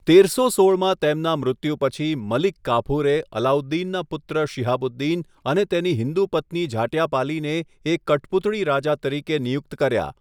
તેરસો સોળમાં તેમના મૃત્યુ પછી, મલિક કાફુરે અલાઉદ્દીનના પુત્ર શિહાબુદ્દીન અને તેની હિન્દુ પત્ની ઝાટ્યાપાલીને એક કઠપૂતળી રાજા તરીકે નિયુક્ત કર્યા.